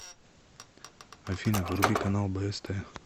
афина вруби канал бст